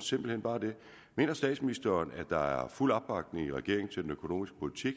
simpelt hen bare mener statsministeren at der er fuld opbakning i regeringen til den økonomiske politik